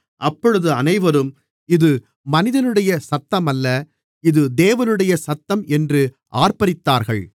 அப்பொழுது அனைவரும் இது மனிதனுடைய சத்தமல்ல இது தேவனுடைய சத்தம் என்று ஆர்ப்பரித்தார்கள்